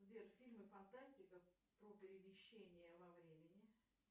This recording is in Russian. сбер фильмы фантастика про перемещение во времени